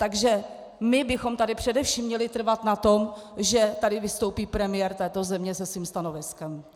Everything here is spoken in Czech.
Takže my bychom tady především měli trvat na tom, že tady vystoupí premiér této země se svým stanoviskem.